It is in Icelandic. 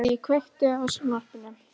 Hedí, kveiktu á sjónvarpinu.